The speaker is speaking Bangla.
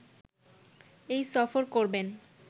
এই সফর করবেন